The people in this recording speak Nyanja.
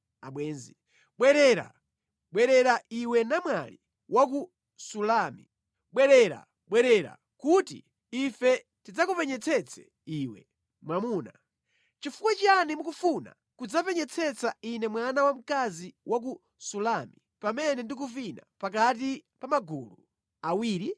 Bwerera, bwerera iwe namwali wa ku Sulami; bwerera, bwerera kuti ife tidzakupenyetsetse iwe! Mwamuna Chifukwa chiyani mukufuna kudzapenyetsetsa ine mwana wamkazi wa ku Sulami, pamene ndikuvina pakati pa magulu awiri?